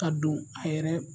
Ka don a yɛrɛ